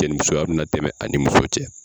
Cɛ ni musoya bɛna tɛmɛ a ni muso cɛ.